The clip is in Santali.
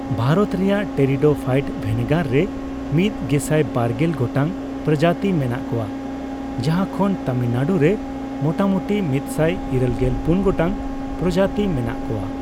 ᱵᱷᱟᱨᱚᱛ ᱨᱮᱭᱟᱜ ᱴᱮᱨᱤᱰᱳᱯᱷᱟᱭᱤᱴ ᱵᱷᱮᱱᱮᱜᱟᱨ ᱨᱮ ᱢᱤᱫ ᱜᱮᱥᱟᱭ ᱵᱟᱨᱜᱮᱞ ᱵᱟᱨ ᱜᱚᱴᱟᱝ ᱯᱨᱚᱡᱟᱛᱤ ᱢᱮᱱᱟᱜ ᱠᱚᱣᱟ, ᱡᱟᱦᱟᱸ ᱠᱷᱚᱱ ᱛᱟᱢᱤᱞᱱᱟᱲᱩ ᱨᱮ ᱢᱚᱴᱟᱢᱚᱴᱤ ᱢᱤᱫ ᱥᱟᱭ ᱤᱨᱟᱹᱞᱜᱮᱞ ᱯᱩᱱ ᱜᱚᱴᱟᱝ ᱯᱨᱚᱡᱟᱛᱤ ᱢᱮᱱᱟᱜ ᱠᱚᱣᱟ ᱾